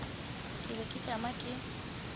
ke be ke tšama ke